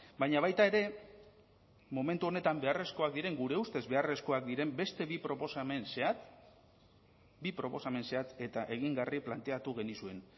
baina baita ere momentu honetan beharrezkoak diren gure ustez beharrezkoak diren beste bi proposamen zehatz bi proposamen zehatz eta egingarri planteatu genizuen